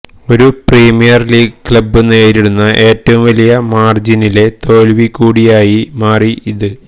ഒരു Premier League club നേരിടുന്ന ഏറ്റവും വലിയ മാർജിനിലെ തോൽവി കൂടിയായി മാറി ഇത്